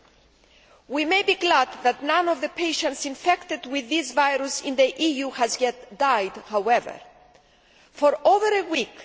However, we may be glad that none of the patients infected with this virus in the EU has yet died. For over a week